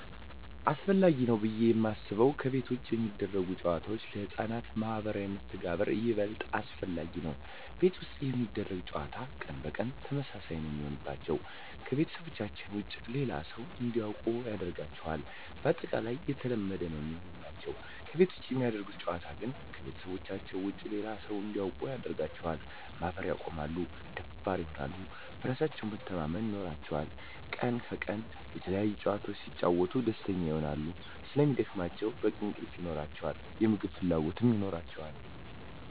አሰፈላጊ ነው ብዬ የማስበው ከቤት ውጭ የሚደረጉ ጨዋታዎች ለህፃናት ማህበራዊ መስተጋብር ይበልጥ አስፈላጊ ነው። ቤት ውስጥ የሚደረግ ጨዋታ ቀን በቀን ተመሳሳይ ነው የሚሆንባቸው , ከቤተሰባቸው ውጭ ሌላ ሰው እንዲያውቁ አያደርጋቸውም ባጠቃላይ የተለመደ ነው የሚሆንባቸው። ከቤት ውጭ የሚደረግ ጨዋታ ግን ከቤተሰባቸው ውጭ ሌላ ሰው እንዲያውቁ ያደርጋቸዋል, ማፈር ያቆማሉ, ደፋር ይሆናሉ, በራስ መተማመን ይኖራቸዋል," ከቀን ወደ ቀን የተለያዪ ጨዋታዎች ሲጫወቱ ደስተኛ ይሆናሉ ስለሚደክማቸው በቂ እንቅልፍ ይኖራቸዋል, የምግብ ፍላጎት ይኖራቸዋል።